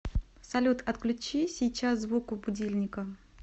салют отключи сейчас звук у будильника